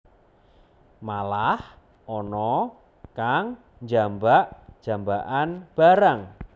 Malah ana kang jambak jambakan barang